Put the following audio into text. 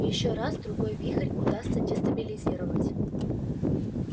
ещё раз-другой вихрь удастся дестабилизировать